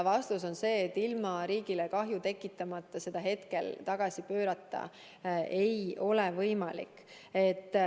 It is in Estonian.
Vastus on see, et ilma riigile kahju tekitamata seda hetkel tagasi pöörata ei ole võimalik.